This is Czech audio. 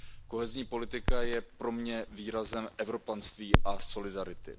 Kohezní politika je pro mě výrazem evropanství a solidarity.